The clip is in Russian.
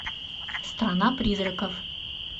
страна призраков